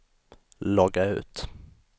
logga ut